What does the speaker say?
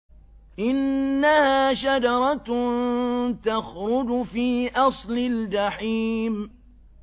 إِنَّهَا شَجَرَةٌ تَخْرُجُ فِي أَصْلِ الْجَحِيمِ